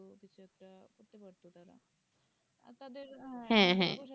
হ্যাঁ হ্যাঁ